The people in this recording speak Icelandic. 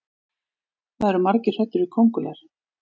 það eru margir hræddir við köngulær